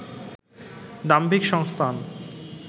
দাম্ভিক সংস্থান